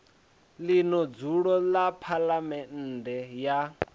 ḽino dzulo ḽa phaḽamennde ya